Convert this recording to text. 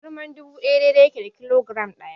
Giram dubu ɗaya daidai yake da kilogiram ɗaya.